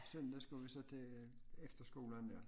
Søndag skulle vi så til efterskolen dér